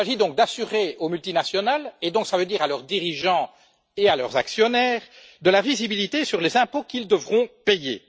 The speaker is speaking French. Il s'agit de donner aux multinationales et, par conséquent, à leurs dirigeants et à leurs actionnaires, de la visibilité sur les impôts qu'ils devront payer.